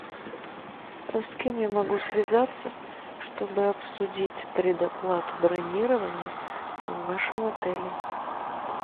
с кем я могу связаться чтобы обсудить предоплату бронирования в вашем отеле